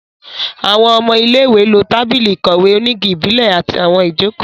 Àwọn ọmọ ilé-ìwé lo tábìlì ìkọ̀wé onígi ìbílẹ̀ àti àwọn ìjókòó